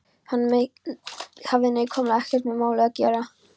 Hann hafði nákvæmlega ekkert með málið að gera.